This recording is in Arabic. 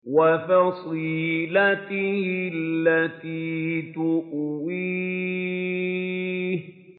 وَفَصِيلَتِهِ الَّتِي تُؤْوِيهِ